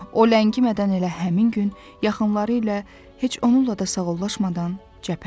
O ləngimədən elə həmin gün yaxınları ilə heç onunla da sağollaşmadan cəbhəyə yola düşmüşdü.